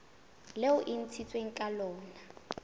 leo e ntshitsweng ka lona